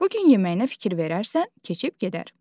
Bu gün yeməyinə fikir verərsən keçib gedər.